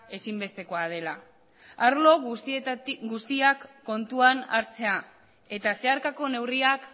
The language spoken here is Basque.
ezinbestekoa dela arlo guztiak kontuan hartzea eta zeharkako neurriak